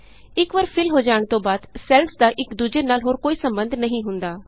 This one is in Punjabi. ਇਕ ਵਾਰ ਫਿਲ ਹੋਣ ਤੋਂ ਬਾਅਦ ਸੈੱਲਸ ਦਾ ਇਕ ਦੂਜੇ ਨਾਲ ਹੋਰ ਕੋਈ ਸੰਬੰਧ ਨਹੀਂ ਹੁੰਦਾ